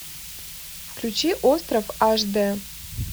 включи остров аш дэ